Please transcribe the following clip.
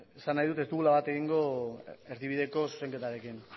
esan nahi dut ez dugula bat egingo erdibideko zuzenketarekin